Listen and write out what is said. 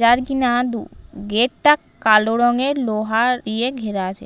যার কিনা দু--গেট টা কালো রঙের লোহা ইয়ে ঘেরা আছে।